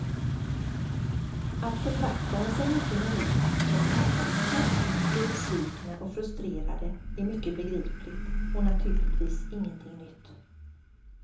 Att författare som inte når ut som man hoppats på blir besvikna och frustrerade är mycket begripligt och naturligtvis ingenting nytt.